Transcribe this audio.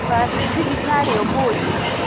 Ndũgathiĩthibitarĩũmũthĩ.